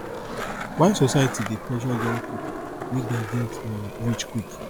why society dey pressure young people make dem get um rich quick